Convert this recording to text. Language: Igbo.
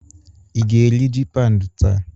Ị ga-eri ji paụnd taa?